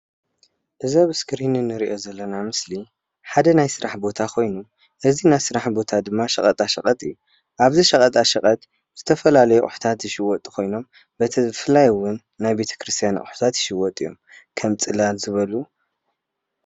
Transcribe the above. እዚ ኣብ እስክሪን እንሪኦ ዘለና ምስሊ ሓደ ናይ ስራሕ ቦታ ኾይኑ እዚ ናይ ስራሕ ቦታ ድማ ሸቀጣሸቀጥ እዪ። ኣብዚ ሸቀጣሸቀጥ ዝተፈላለዩ ኣቑሕታታት ዝሽወጡ ኮይኖም ብፍላይ እዉን ናይ ቤተ ክርስትያን ኣቑሕታት ይሽወጡ እዮም ከም ፅላል ዝበሉ።